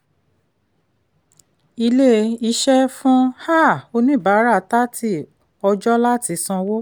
ilé-iṣẹ́ fún um oníbàárà thrity ọjọ́ láti sanwó.